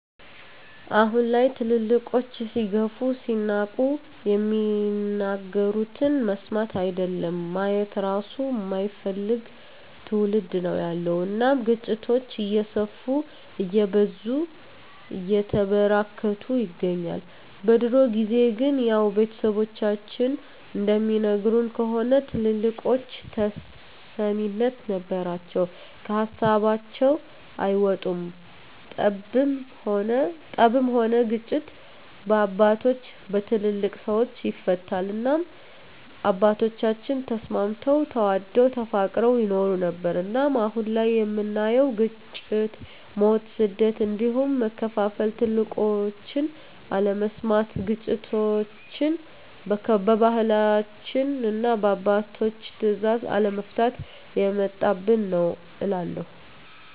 አሁን ላይ ትልልቆች ሲገፉ ሲናቁ የሚናገሩትን መስማት አይደለም ማየት እራሱ የማይፈልግ ትዉልድ ነዉ ያለዉ እናም ግጭቶች እየሰፉ እየበዙ እየተበራከቱ ይገኛል። በድሮ ጊዜ ግን ያዉ ቤተሰቦቻችን እንደሚነግሩን ከሆነ ትልልቆች ተሰሚነት ነበራቸዉ ከሀሳባቸዉ አይወጡም ጠብም ሆነ ግጭት በአባቶች(በትልልቅ ሰወች) ይፈታል እናም አባቶቻችን ተስማምተዉ ተዋደዉ ተፋቅረዉ ይኖሩ ነበር። እናም አሁን ላይ የምናየዉ ግጭ፣ ሞት፣ ስደት እንዲሁም መከፋፋል ትልቆችን አለመስማት ግጭቶችችን በባህላችንና እና በአባቶች ትእዛዝ አለመፍታት የመጣብን ነዉ እላለሁ።